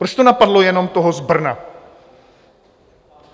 Proč to napadlo jenom toho z Brna?